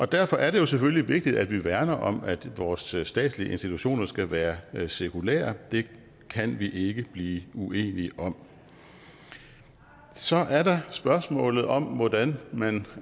derfor er det jo selvfølgelig vigtigt at vi værner om at vores statslige institutioner skal være være sekulære det kan vi ikke blive uenige om så er der spørgsmålet om hvordan man